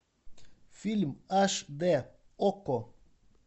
фильм аш д окко